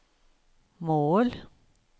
mål